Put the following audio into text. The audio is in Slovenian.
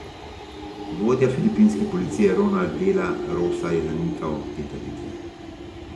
Vodja filipinske policije Ronald dela Rosa je zanikal te trditve.